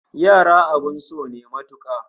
Yara abin so ne matuka